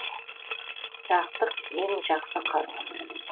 сақтық ең жақсы қару